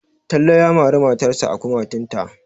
Talle ya mari matarsa a kumatunta.